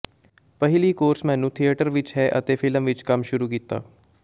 ਪਹਿਲੀ ਕੋਰਸ ਮੈਨੂੰ ਥੀਏਟਰ ਵਿਚ ਹੈ ਅਤੇ ਫਿਲਮ ਵਿਚ ਕੰਮ ਸ਼ੁਰੂ ਕੀਤਾ